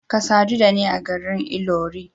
Ka sadu da ni a garin Ilori.